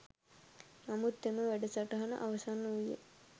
නමුත් එම වැඩසටහන අවසන් වූයේ